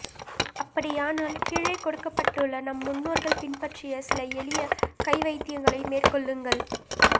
அப்படியானால் கீழே கொடுக்கப்பட்டுள்ள நம் முன்னோர்கள் பின்பற்றிய சில எளிய கை வைத்தியங்களை மேற்கொள்ளுங்கள்